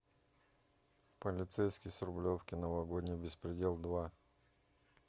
полицейский с рублевки новогодний беспредел два